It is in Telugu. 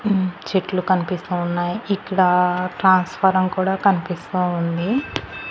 మ్మ్ చెట్లు కనిపిస్తా ఉన్నాయి ఇక్కడ ట్రాన్స్ఫారం కూడా కనిపిస్తా ఉంది.